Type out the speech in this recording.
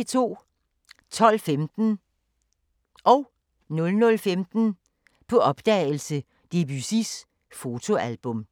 12:15: På opdagelse – Debussys fotoalbum 00:15: På opdagelse – Debussys fotoalbum